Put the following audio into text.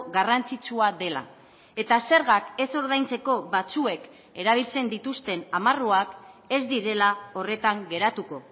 garrantzitsua dela eta zergak ez ordaintzeko batzuek erabiltzen dituzten amarruak ez direla horretan geratuko